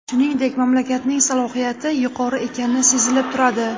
Shuningdek, mamlakatning salohiyati yuqori ekani sezilib turadi.